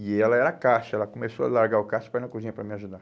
E ela era caixa, ela começou a largar o caixa para ir na cozinha para me ajudar.